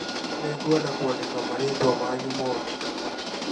Nĩngwenda kwandĩka marĩĩtwa manyu mothe